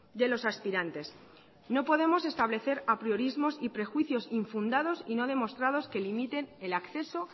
de los aspirantes no podemos establecer apriorismos y prejuicios infundados y no demostrados que limiten el acceso